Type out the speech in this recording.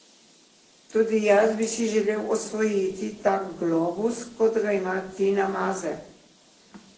Tudi jaz bi si želel osvojiti tak globus, kot ga ima Tina Maze.